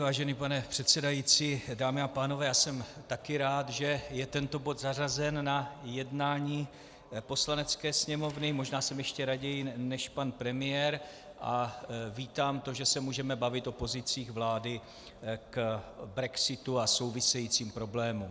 Vážený pane předsedající, dámy a pánové, já jsem taky rád, že je tento bod zařazen na jednání Poslanecké sněmovny, možná jsem ještě raději než pan premiér, a vítám to, že se můžeme bavit o pozicích vlády k brexitu a souvisejícím problémům.